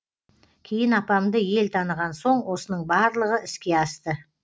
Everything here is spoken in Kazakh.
кейін апамды ел таныған соң осының барлығы іске асты